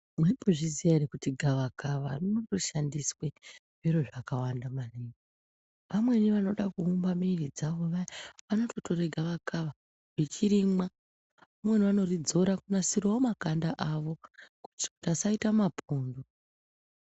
Maimbozviziva ere kuti gava kava rinoshandiswa zviro zvakawanda maningi amweni vanoda kuumba mwiri dzawo vanotora gava kava vachirimwa amweni anoridzora kunasirawo makanda awo vasaita mapundu.